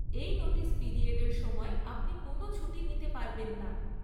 এই নোটিস পিরিয়ডের সময় আপনি কোনো ছুটি নিতে পারবেন না।